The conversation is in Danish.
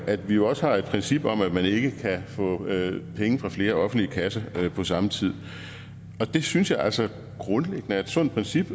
at vi også har et princip om at man ikke kan få penge fra flere offentlige kasser på samme tid og det synes jeg altså grundlæggende er et sundt princip